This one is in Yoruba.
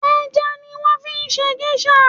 Ẹja ni wọ́n fi ṣe gẹ́ṣà